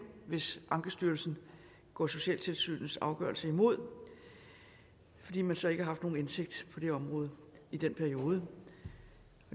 hvis ankestyrelsen går socialtilsynets afgørelse imod fordi man så ikke har nogen indsigt på det område i den periode